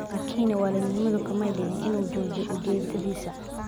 Laakin walidnimadu kamay dhigin in uu joojiyo ujeedadiisa.